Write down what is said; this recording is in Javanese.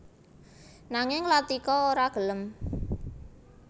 Nanging Latika ora gelem